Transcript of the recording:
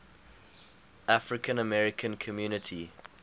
african american community